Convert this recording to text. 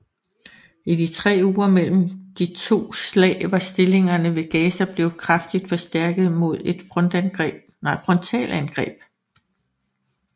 I de tre uger mellem de to slag var stillingerne ved Gaza blevet kraftigt forstærket mod et frontalangreb